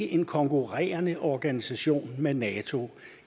en konkurrerende organisation med nato